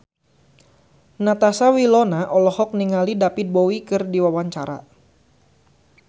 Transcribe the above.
Natasha Wilona olohok ningali David Bowie keur diwawancara